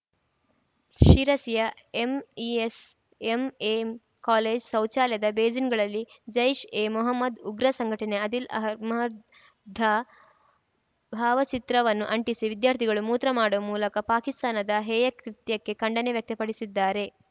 ಶಿರಸಿಯ MES MM college ಶೌಚಾಲಯದ ಬೇಸಿನ್‌ಗಳಲ್ಲಿ ಜೈಷ್‌ಎಮೊಹಮ್ಮದ ಉಗ್ರ ಸಂಘಟನೆಯ ಆದಿಲ್‌ ಅಹಮ್ಮದ್‌ ಧ ಭಾವಚಿತ್ರವನ್ನು ಅಂಟಿಸಿ ವಿದ್ಯಾರ್ಥಿಗಳು ಮೂತ್ರ ಮಾಡುವ ಮೂಲಕ ಪಾಕಿಸ್ತಾನದ ಹೇಯ ಕೃತ್ಯಕ್ಕೆ ಖಂಡನೆ ವ್ಯಕ್ತಪಡಿಸಿದ್ದಾರೆ